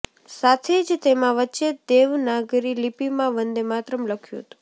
સાથે જ તેમા વચ્ચે દેવનાગરી લિપિમાં વંદેમાતરમ લખ્યું હતું